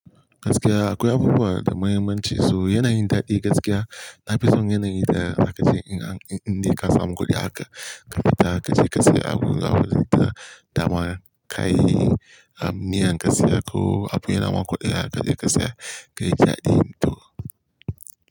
Gaskiya akwai abubuwa da muhimmanci, su yanayin daɗi gaskiya. Na fi son yanayin da aka ce in dai ka samu kuɗi haka ka fita ka je ka sayi abubuwa da dama, kayi niyan ka saya ko abune naman kuɗi aka je ka saya kai jaɗi to.